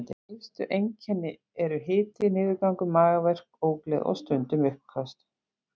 Helstu einkennin eru hiti, niðurgangur, magaverkir, ógleði og stundum uppköst.